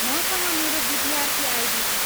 मसँग मेरो विद्यार्थी आइडी छ।